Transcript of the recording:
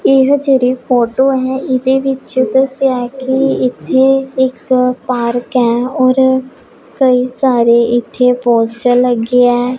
ਇਹ ਜਿਹੜੀ ਫੋਟੋ ਹੈ ਇਹਦੇ ਵਿੱਚ ਦੱਸਿਆ ਹੈ ਕਿ ਇੱਥੇ ਇੱਕ ਪਾਰਕ ਹੈ ਔਰ ਕਈ ਸਾਰੇ ਇੱਥੇ ਪੋਸਟਰ ਲੱਗੇ ਹੈ।